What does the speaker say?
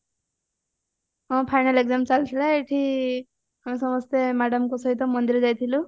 ହଁ final exam ଚାଲିଥିଲା ଏଇଠି ଆମେ ସମସ୍ତେ madamଙ୍କ ସହିତ ମନ୍ଦିର ଯାଇଥିଲୁ